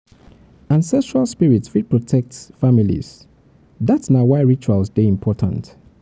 ancestral spirits fit protect fit protect families; dat na why rituals dey important.